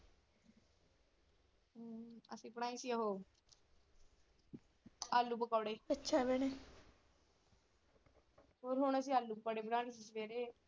ਆਪਣਾ ਹੀ ਸੀ ਉਹ ਆਲੂ ਪਕੌੜੇ ਅੱਛਾ ਭੈਣੇ, ਹੁਣ ਅਸੀਂ ਆਲੂ ਪਕੌੜੇ ਬਣਾਉਣੇ .